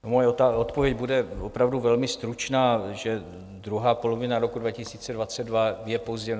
Moje odpověď bude opravdu velmi stručná, že druhá polovina roku 2022 je pozdě.